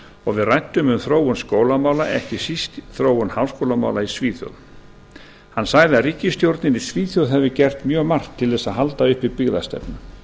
og við ræddum um þróun skólamála ekki síst þróun háskólamála í svíþjóð hann sagði að ríkisstjórnir í svíþjóð hefði gert mjög margt til að halda uppi byggðastefnu